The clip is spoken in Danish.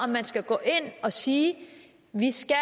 man skal gå ind og sige vi skal